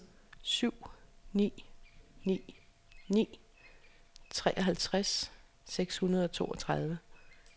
syv ni ni ni treoghalvtreds seks hundrede og toogtredive